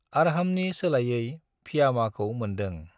आर्हामनि सोलायै फियामाखौ मोन्दों।